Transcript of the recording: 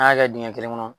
An y'a kɛ dingɛn kelen kɔnɔ